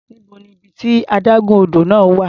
Níbo ni ibi tí adágún odò náà wà?